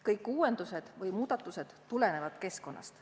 Kõik uuendused või muudatused tulenevad keskkonnast.